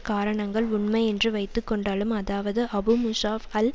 காரணங்கள் உண்மை என்று வைத்துக்கொண்டாலும் அதாவது அபு மூஸாப் அல்